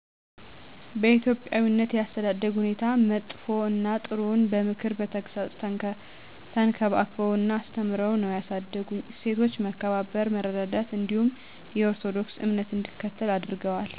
በኢትዮጵያዊነት የአተዳደግ ሁኔታ መጥፈ እና ጥሩውን በምክር በተግፃፅ ተንከባክበው እና አስተምርዉ ነው ያሳደጉኝ። እሴቶች መከባበር፥ መረዳዳት እንዲሁም የኦርቶዶክስ እምነት እንድከተል አድረገዋል